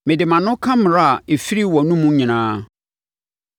Mede mʼano ka mmara a ɛfiri wʼanomu nyinaa.